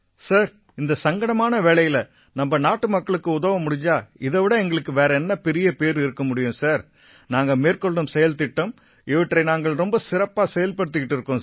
sir இந்த சங்கடமான வேளையில நம்ம நாட்டுமக்களுக்கு உதவ முடிஞ்சா இதை விட எங்களுக்கு வேற என்ன பெரிய பேறு இருக்க முடியும் சார் நாங்க மேற்கொள்ளும் செயல் திட்டம் இவற்றை நாங்க ரொம்ப சிறப்பா செயல்படுத்திக்கிட்டு இருக்கோம் சார்